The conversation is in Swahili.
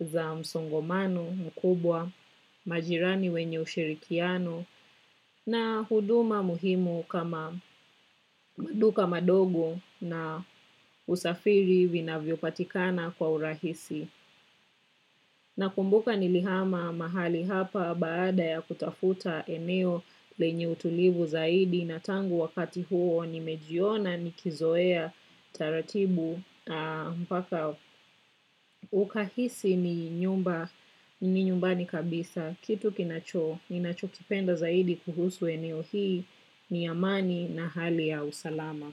za msongomano mkubwa majirani wenye ushirikiano na huduma muhimu kama maduka madogo na usafiri vinavyo patikana kwa urahisi. Nakumbuka nilihama mahali hapa baada ya kutafuta eneo lenye utulivu zaidi na tangu wakati huo nimejiona nikizoea taratibu mpaka ukahisi ni nyumba ni nyumbani kabisa. Kitu kinacho, ninacho kipenda zaidi kuhusu eneo hii ni amani na hali ya usalama.